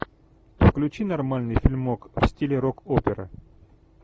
включи нормальный фильмок в стиле рок опера